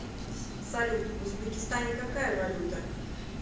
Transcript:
салют в узбекистане какая валюта